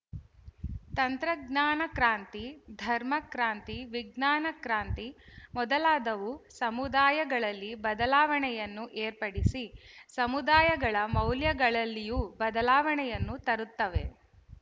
ತಂತ್ರಜ್ಞಾನ ಕ್ರಾಂತಿ ಧರ್ಮಕ್ರಾಂತಿ ವಿಜ್ಞಾನಕ್ರಾಂತಿ ಮೊದಲಾದವು ಸಮುದಾಯಗಳಲ್ಲಿ ಬದಲಾವಣೆಯನ್ನು ಏರ್ಪಡಿಸಿ ಸಮುದಾಯಗಳ ಮೌಲ್ಯಗಳಲ್ಲಿಯೂ ಬದಲಾವಣೆಯನ್ನು ತರುತ್ತವೆ